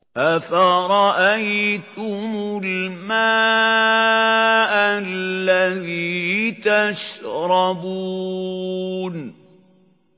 أَفَرَأَيْتُمُ الْمَاءَ الَّذِي تَشْرَبُونَ